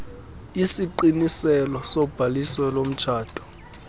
isiqiniselo sobhaliso lomtshato